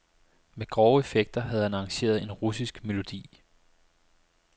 Med grove effekter havde han arrangeret en russisk melodi.